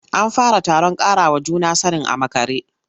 An fara taron ƙarawa juna sanin a makare.